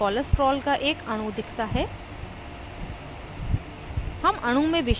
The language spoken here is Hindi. panel पर cholesterol का एक अणु दिखता है